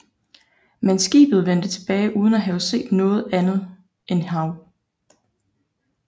Men skibet vendte tilbage uden at have set noget andet end hav